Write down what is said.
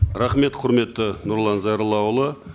рахмет құрметті нұрлан зайроллаұлы